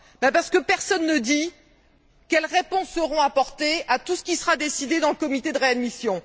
Parce que personne ne dit quelles réponses seront apportées à tout ce qui sera décidé dans le comité de réadmission.